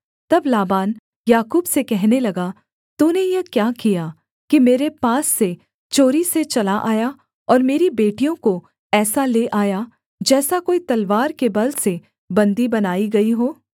तब Laban Yakub से कहने लगा तूने यह क्या किया कि मेरे पास से चोरी से चला आया और मेरी बेटियों को ऐसा ले आया जैसा कोई तलवार के बल से बन्दी बनाई गई हों